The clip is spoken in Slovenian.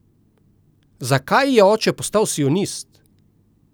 Zakaj je oče postal sionist?